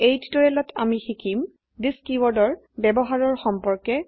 এই টিউটোৰিয়েলত আমি শিকিম থিচ কীওয়াৰ্ডৰ ব্যবহাৰৰ সম্পৰ্কে